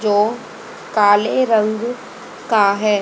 जो काले रंग का हैं।